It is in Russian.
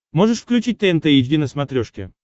можешь включить тнт эйч ди на смотрешке